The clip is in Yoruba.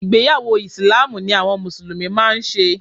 Ìgbéyàwọ́ ìsìláámù ni àwọn mùsùlùmí máa ń ṣe